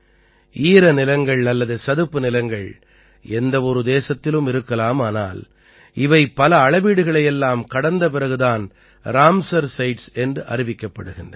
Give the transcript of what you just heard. ஈரநிலங்கள் அல்லது சதுப்புநிலங்கள் எந்தவொரு தேசத்திலும் இருக்கலாம் ஆனால் இவை பல அளவீடுகளை எல்லாம் கடந்த பிறகு தான் ராம்சார் சைட்ஸ் என்று அறிவிக்கப்படுகின்றன